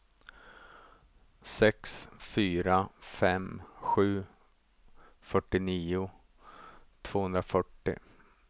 sex fyra fem sju fyrtionio tvåhundrafyrtio